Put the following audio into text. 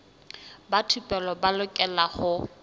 ba thupelo ba lokela ho